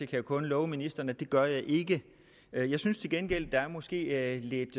kan kun love ministeren at det gør jeg ikke jeg synes til gengæld at der måske er et lidt